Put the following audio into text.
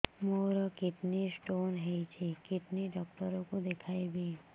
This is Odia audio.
ମୋର କିଡନୀ ସ୍ଟୋନ୍ ହେଇଛି କିଡନୀ ଡକ୍ଟର କୁ ଦେଖାଇବି